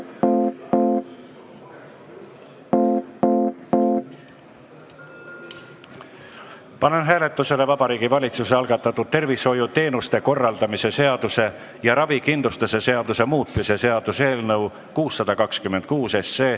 Panen hääletusele Vabariigi Valitsuse algatatud tervishoiuteenuste korraldamise seaduse ja ravikindlustuse seaduse muutmise seaduse eelnõu 626.